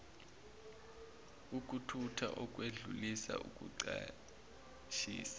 ukuthutha ukwedlulisa ukucashisa